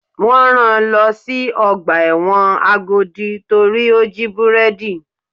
Wọ́n rán-an lọ sí ọgbà ẹ̀wọ̀n Agodi torí ó jí búrẹ́dì.